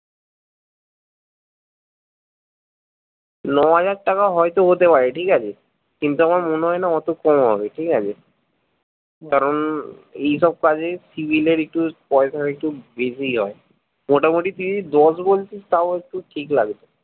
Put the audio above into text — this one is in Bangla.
নয় হাজার টাকা হয়তো হতে পারে ঠিকাছে কিন্ত আমার মনে হয়না অতো কম হবে ঠিকাছে কারন এই সব কাজে CIVIL এর একটু পয়সা একটু বেশিই হয় মোটামুটি তুই দশ বলছিস তাও একটু ঠিক লাগছে